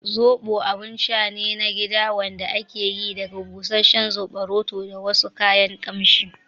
Zoɓo abun sha ne na gida wanda ake yi daga busasshen soɓoroto da wasu kayan kamshi